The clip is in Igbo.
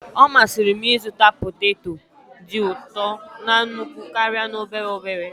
Ọ masịrị m ịzụta poteto dị ụtọ na nnukwu karịa n'obere obere.